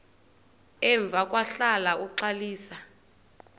emva kwahlala uxalisa